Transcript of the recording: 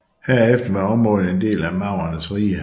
Herefter var området en del af maurernes rige